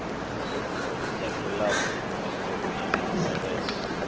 ya kilabu idzo mbili mvelelo